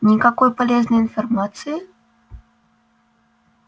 никакой полезной информации